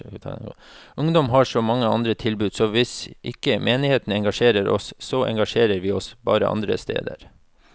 Ungdom har så mange andre tilbud, så hvis ikke menigheten engasjerer oss, så engasjerer vi oss bare andre steder.